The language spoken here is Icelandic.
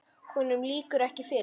Honum lýkur ekki fyrr.